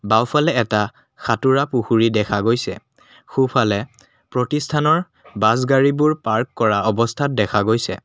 বাওঁফালে এটা সাঁতোৰা পুখুৰী দেখা গৈছে সোঁফালে প্ৰতিষ্ঠানৰ বাছ গাড়ীবোৰ পাৰ্ক কৰা অৱস্থাত দেখা গৈছে।